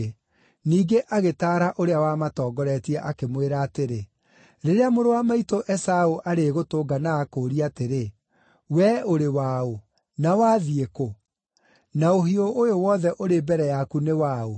Ningĩ agĩtaara ũrĩa wamatongoretie, akĩmwĩra atĩrĩ, “Rĩrĩa mũrũ wa maitũ Esaũ arĩgũtũnga na akũũrie atĩrĩ, ‘Wee ũrĩ waũ? Na wathiĩ kũ? Na ũhiũ ũyũ wothe ũrĩ mbere yaku nĩ waũ?’